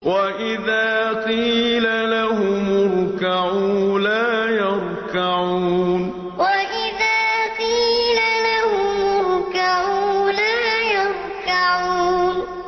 وَإِذَا قِيلَ لَهُمُ ارْكَعُوا لَا يَرْكَعُونَ وَإِذَا قِيلَ لَهُمُ ارْكَعُوا لَا يَرْكَعُونَ